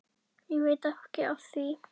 Og veit ekki af því.